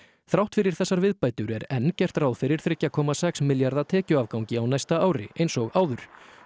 þrátt fyrir þessar viðbætur er enn gert ráð fyrir þremur komma sex milljarða tekjuafgangi á næsta ári eins og áður